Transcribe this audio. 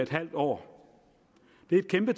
halv år det er et kæmpe